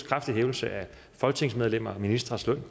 kraftig hævelse af folketingsmedlemmers og ministres løn og